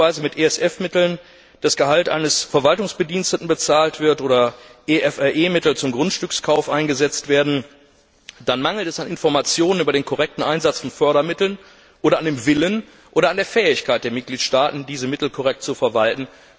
Wenn beispielsweise mit ESF Mitteln das Gehalt eines Verwaltungsbediensteten bezahlt wird oder EFRE Mittel zum Grundstückskauf eingesetzt werden, dann mangelt es an Informationen über den korrekten Einsatz von Fördermitteln oder an dem Willen oder an der Fähigkeit der Mitgliedstaaten, diese Mittel korrekt zu verwalten.